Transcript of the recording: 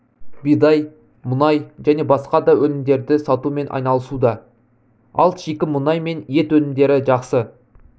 бидай мұнай және басқа да өнімдерді сатумен айналысуда ал шикі мұнай мен ет өнімдері жақсы